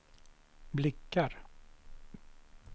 blickar